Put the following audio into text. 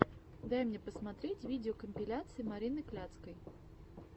дай мне посмотреть видеокомпиляция марины кляцкой